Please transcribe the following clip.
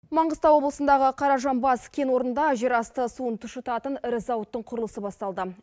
маңғыстау облысындағы қаражанбас кен орында жер асты суын тұщытатын ірі зауыттың құрылысы басталды